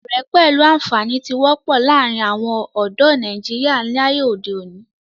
Ọ̀rẹ́ pẹ̀lú àǹfàní tí wọ́pọ̀ láàrin àwon ọ̀dọ́ nàìjíría láyé òde òni